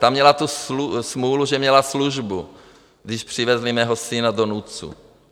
Ta měla tu smůlu, že měla službu, když přivezli mého syna do NUDZ.